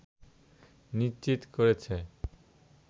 নিশ্চিত করেছে